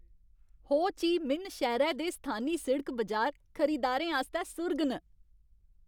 हो Chi Minh शैह्रै दे स्थानी सिड़क बजार खरीदारें आस्तै सुर्ग न।